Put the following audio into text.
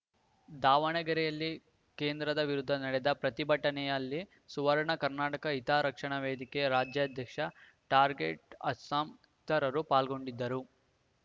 ದಾವಣಗೆರೆಯಲ್ಲಿ ಕೇಂದ್ರದ ವಿರುದ್ಧ ನಡೆದ ಪ್ರತಿಭಟನೆಯಲ್ಲಿ ಸುವರ್ಣ ಕರ್ನಾಟಕ ಹಿತರಕ್ಷಣಾ ವೇದಿಕೆ ರಾಜ್ಯಾಧ್ಯಕ್ಷ ಟಾರ್ಗೆಟ್‌ ಅಸ್ಲಂ ಇತರರು ಪಾಲ್ಗೊಂಡಿದ್ದರು